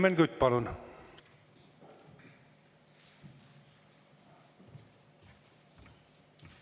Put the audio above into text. Helmen Kütt, palun!